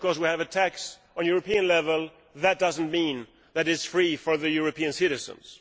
Just because we have a tax at European level that does not mean that it is free for the European citizens.